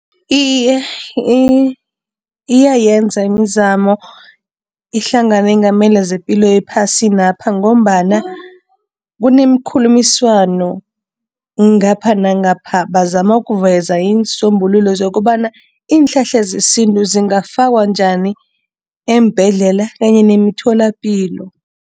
Iye, iyayenza imizamo ihlangano eyengamele zepilo ephasinapha ngombana kunemkhulumiswano ngapha nangapha. Bazama ukuveza iinsombululo zokobana iinhlahla zesintu zingafakwa njani eembhedlela kanye nemitholapilo.